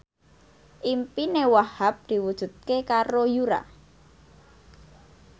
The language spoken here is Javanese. impine Wahhab diwujudke karo Yura